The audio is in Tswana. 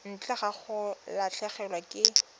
ntle ga go latlhegelwa ke